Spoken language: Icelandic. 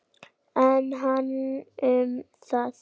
En hann um það.